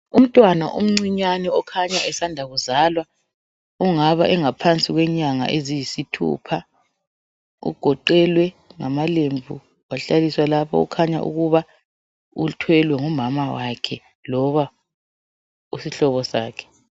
Umntwana omncinyane okhanya esanda kuzalwa ongaba engaphansi kwenyanga eziyisithupha ugoqelwe ngamalembu wahlaliswa lapha okukhanya ukuba uthwele ngumama wakhe loba isihlobo sakhe.